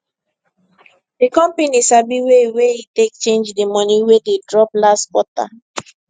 di company sabi way wey e take change di money wey dey drop last quarter